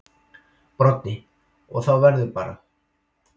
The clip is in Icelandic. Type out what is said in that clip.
Broddi: Og þá verður bara.